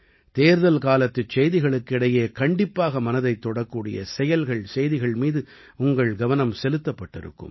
தேர்தல் காலத்துச் செய்திகளுக்கு இடையே கண்டிப்பாக மனதைத் தொடக்கூடிய செயல்கள் செய்திகள் மீது உங்கள் கவனம் செலுத்தப்பட்டிருக்கும்